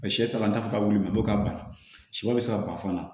Sɛ taara an ta fɔ k'a wili ka ban sɔ bɛ se ka ban fana